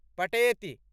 पटेति